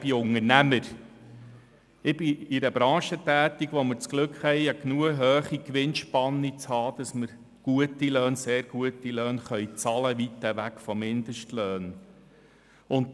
Ich bin Unternehmer und in einer Branche tätig, wo wir das Glück haben, eine genügend hohe Gewinnspanne zu haben, sodass wir gute, sehr gute Löhne bezahlen können, weit weg von Mindestlöhnen.